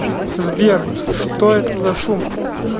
сбер что это за шум